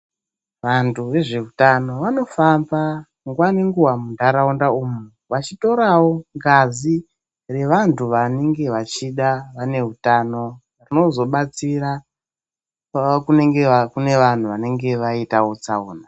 Vantu vezveutano vanofamba nguwa ngenguwa muntaraunda umwu. Vechitorawo ngazi yevantu vanenga veida vane utano, rinozodetsera kune vantu vanenge vaita tsaona.